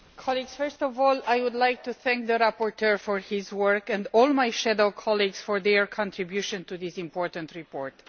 Madam President, first of all I would like to thank the rapporteur for his work, and all my shadow colleagues for their contribution to this important report.